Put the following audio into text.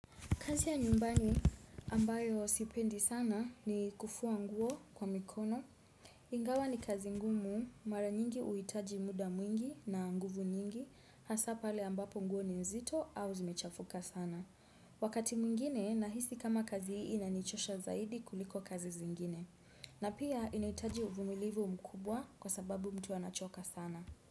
Kazi ya nyumbani ambayo sipendi sana ni kufua nguo kwa mikono. Ingawa ni kazi ngumu, mara nyingi huitaji muda mwingi na nguvu nyingi, hasa pale ambapo nguo ni nzito au zimechafuka sana. Wakati mwingine nahisi kama kazi hii inanichosha zaidi kuliko kazi zingine. Na pia inaitaji uvumilivu mkubwa kwa sababu mtu anachoka sana.